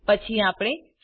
પછી આપણે સુમ